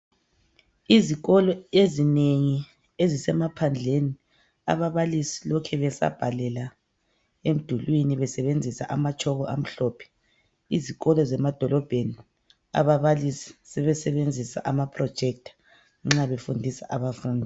Izikolo ezinengi ezisemaphandleni, ababalisi lokhe besabhalela emdulwini. Besebenzisa anatshoko amhlophe. Izikolo zemadolobheni, ababalisi sebesebenzisa amaprojector, nxa befundisa abafundi.